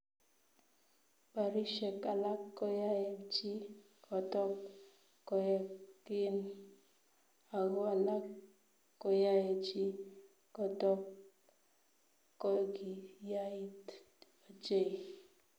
Barishet alak koyae chi kotok koek gim, ago alak koyae chi kotok kogiyait ochei